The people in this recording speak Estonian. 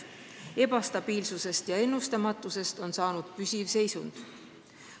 Ebastabiilsusest ja ennustamatusest on saanud püsiv seisund.